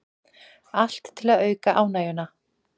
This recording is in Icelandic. Allt til að auka ánægjuna